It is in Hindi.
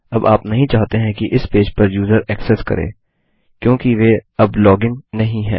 अब आप नहीं चाहते हैं कि इस पेज पर यूजर ऐक्सेस करें क्योंकि वे अब लॉग इन नहीं हैं